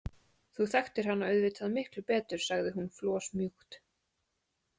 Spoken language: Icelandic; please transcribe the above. Þú þekktir hana auðvitað miklu betur, sagði hún flosmjúkt.